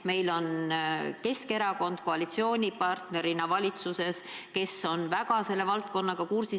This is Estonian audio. Meil on valitsuses koalitsioonipartnerina Keskerakond, kes on väga hästi selle valdkonnaga kursis.